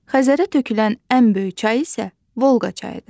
Xəzərə tökülən ən böyük çay isə Volqa çayıdır.